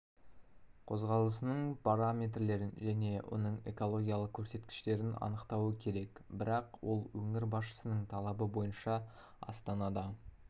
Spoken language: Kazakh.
қозғалысының параметрлерін және оның экологиялық көрсеткіштерін анықтауы керек бірақ ол өңір басшысының талабы бойынша астанада